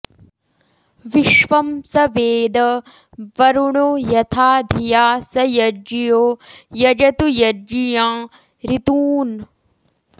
विश्वं॒ स वे॑द॒ वरु॑णो॒ यथा॑ धि॒या स य॒ज्ञियो॑ यजतु य॒ज्ञियाँ॑ ऋ॒तून्